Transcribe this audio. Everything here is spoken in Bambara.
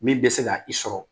Min bɛ se ka i sɔrɔ